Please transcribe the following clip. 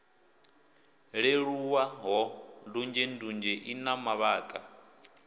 leluwaho ndunzhendunzhe i na mavhaka